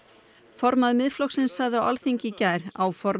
formaður Miðflokksins sagði á Alþingi í gær áformin